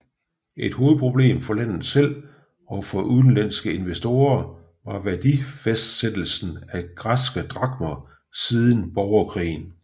Et hovedproblem for landet selv og for udenlandske investorer var værdifastsættelsen af græske drakmer siden borgerkrigen